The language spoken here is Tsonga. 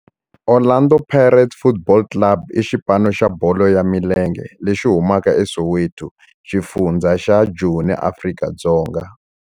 Orlando Pirates Football Club i xipano xa bolo ya milenge lexi humaka eSoweto, xifundzha xa Joni, Afrika-Dzonga.